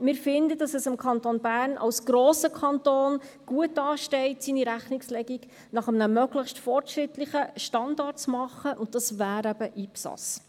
Wir finden, dass es dem Kanton Bern als grossen Kanton gut ansteht, seine Rechnungslegung nach einem möglichst fortschrittlichen Standard zu machen, und das wäre eben IPSAS.